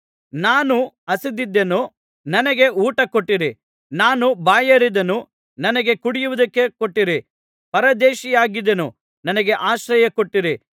ನಾನು ಹಸಿದಿದ್ದೆನು ನನಗೆ ಊಟ ಕೊಟ್ಟಿರಿ ನಾನು ಬಾಯಾರಿದ್ದೆನು ನನಗೆ ಕುಡಿಯುವುದಕ್ಕೆ ಕೊಟ್ಟಿರಿ ಪರದೇಶಿಯಾಗಿದ್ದೆನು ನನಗೆ ಆಶ್ರಯ ಕೊಟ್ಟಿರಿ